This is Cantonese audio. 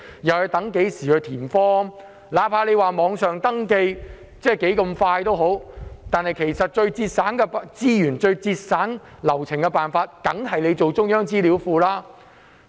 即使政府說網上登記很快捷，但最節省資源和流程的辦法，仍然是設立中央資料庫。